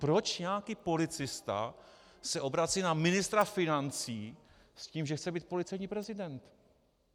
Proč nějaký policista se obrací na ministra financí s tím, že chce být policejní prezident?